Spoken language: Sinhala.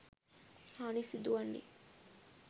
හානි සිදුවන්නෙ